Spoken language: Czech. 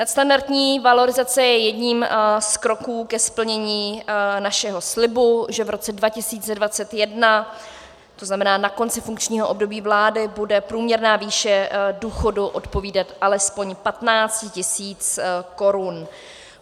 Nadstandardní valorizace je jedním z kroků ke splnění našeho slibu, že v roce 2021, to znamená na konci funkčního období vlády, bude průměrná výše důchodu odpovídat alespoň 15 tisícům korun.